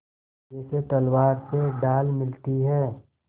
जैसे तलवार से ढाल मिलती है